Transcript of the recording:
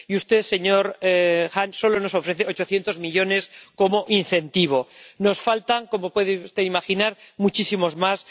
Y usted, señor Hahn, solo nos ofrece 800 millones como incentivo nos hacen falta, como puede usted imaginar, muchísimos más.